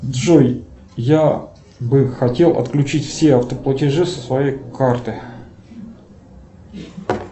джой я бы хотел отключить все автоплатежи со своей карты